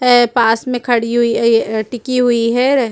हैं पास में खड़े हुई टिकी हुई है।